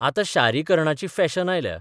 आतां शारीकरणाची फॅशन आयल्या.